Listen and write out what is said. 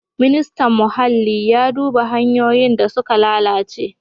Ministan Muhalli ya duba hanyoyin da suka lalace.